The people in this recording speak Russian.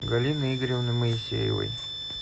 галины игоревны моисеевой